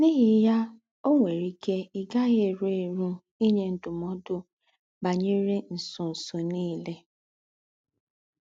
N’íhí yà, ò nwérè íkè í gá-àghì érù érù ínyè ndúm̀ọ̀dù bányerè ńsọ̀nsọ̀ nìlè.